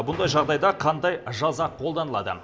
бұндай жағдайда қандай жаза қолданылады